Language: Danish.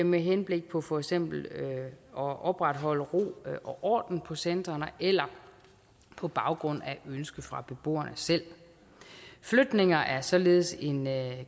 med henblik på for eksempel at opretholde ro og orden på centrene eller på baggrund af et ønske fra beboerne selv flytninger er således en